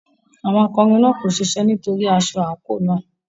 Àwọn akọrin náà kò ṣiṣẹ́ nítorí aṣọ àǹkóò náà.